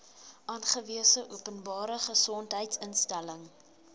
aangewese openbare gesondheidsinstelling